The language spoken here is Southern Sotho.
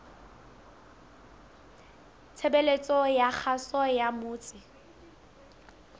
tshebeletso ya kgaso ya motse